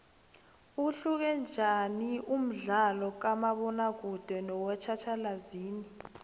uhluke njaniumdlalokamabona kude nowatjhatjhalazi